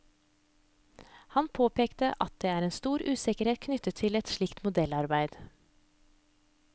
Han påpeker at det er stor usikkerhet knyttet til et slikt modellarbeid.